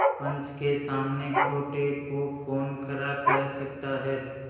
पंच के सामने खोटे को कौन खरा कह सकता है